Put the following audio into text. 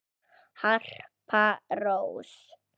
Harpa Rós.